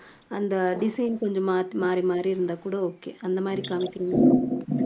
அந்த design கொஞ்சம் மாத்தி மாறி மாறி இருந்தா கூட okay அந்த மாதிரி காமிக்கிறீங்களா